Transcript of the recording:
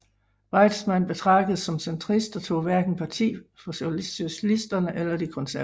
Weizmann betragtedes som centrist og tog hverken parti for socialisterne eller de konservative